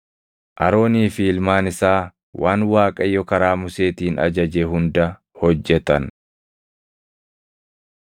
Aroonii fi ilmaan isaa waan Waaqayyo karaa Museetiin ajaje hunda hojjetan.